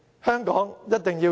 香港一定要贏！